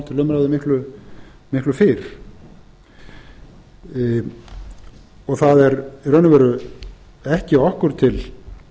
til vegs þegar frá líður það er í raun og veru ekki okkur til